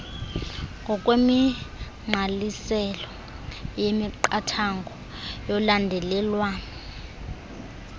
ngokwemigqaliselo yemiqathango yolandelelwano